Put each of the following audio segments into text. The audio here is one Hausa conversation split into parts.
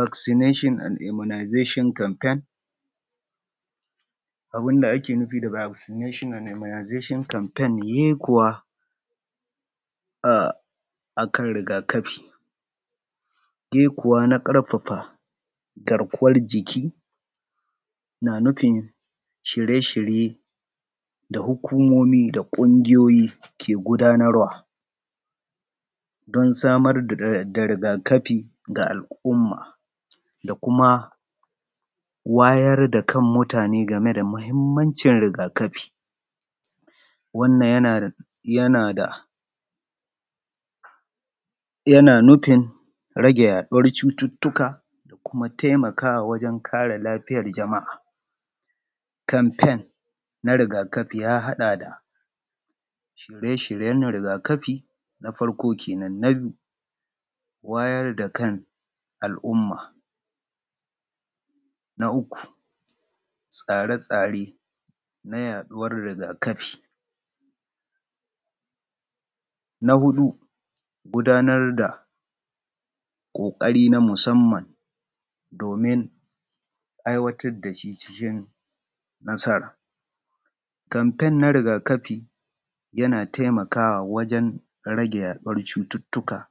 Vaccination and immunizations campaign, abun da ake nufin Vaccination and immunizations campaign yekuwa a kan riga-kafi, yekuwa na ƙarfafa garkuwar jikin na nufi shirye-shiryen da hukumomi da ƙungiyoyi ke gabatarwadon samar da riga-kafi ga al'umma da kuma wayar da kan mutane game da mahimmanci riga-kafi. Wannan tana nufi rage yaɗuwar cututtuka da kuma taimawa wajen kare lafiyar jama'a, campaign na riga-kafi ya haɗa shirye-shiryen riga-kafi na farko kenan. Wayar da kana al'umma. Na uku tsare-tsaren hana yaɗuwar riga kafi. Huɗu gudanar da ƙoƙari na musamman domin aiwatar da shi cikin nasara. Campaign na riga-kafi yana taimakawa wajen rage yaduwar cututtuka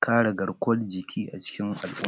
kare garkuwar jikia ciki al'umma.